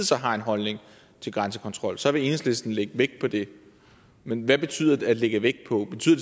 så har en holdning til grænsekontrol så vil enhedslisten lægge vægt på det men hvad betyder at lægge vægt på betyder